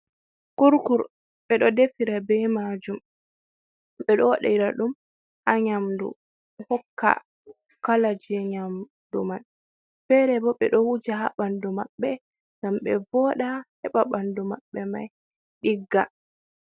Kurkur ɓe ɗo defira be majum, ɓe ɗo waɗira ɗum ha nyamdu hokka kalaji nyamdu man, fere bo ɓe ɗo wuja ha ɓandu maɓɓe ngam ɓe voda heɓa ɓandu maɓɓe mai ɗigga.